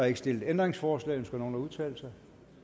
ikke stillet ændringsforslag ønsker nogen at udtale sig